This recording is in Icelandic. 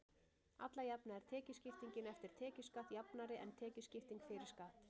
Alla jafna er tekjuskiptingin eftir tekjuskatt jafnari en tekjuskipting fyrir skatt.